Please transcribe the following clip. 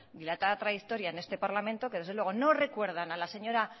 dilatada trayectoria en este parlamento que desde luego no recuerdan a la señora